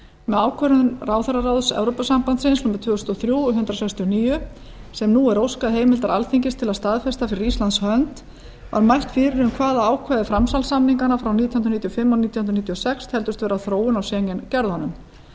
með ákvörðun ráðherraráðs evrópusambandsins númer tvö þúsund og þrjú hundrað sextíu og níu sem nú er óskað heimildar alþingis til að staðfesta fyrir íslands hönd er mælt fyrir um hvaða ákvæði framsalssamninganna frá nítján hundruð níutíu og fimm og nítján hundruð níutíu og sex teldust vera þróun á schengen gerðunum